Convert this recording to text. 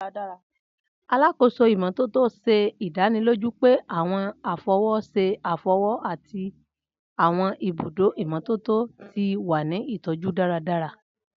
Alakoso imototo ṣe idaniloju pe àwọn afọwọṣe afọwọ ati àwọn ibudo imototo ti wa ni itọju daradara.